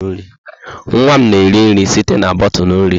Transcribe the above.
Nwa m na-eri nri site na bọtụlụ nri.